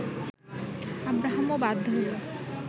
আব্রাহামও বাধ্য হল